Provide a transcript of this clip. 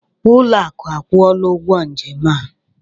Ụlọakụ akwụọla ụgwọ njem a.